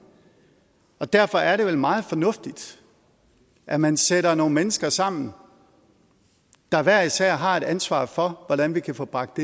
og derfor er det vel meget fornuftigt at man sætter nogle mennesker sammen der hver især har et ansvar for hvordan vi kan få bragt